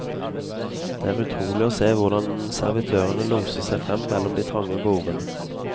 Det er utrolig å se hvordan servitørene loser seg frem mellom de trange bordene.